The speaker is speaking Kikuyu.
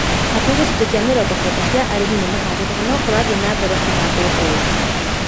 Hakuhĩ gĩcunjĩ kĩa mĩrongo kenda kĩa arĩmi nimahandĩte na nokũrathiĩ na mbere kũhandwo Embu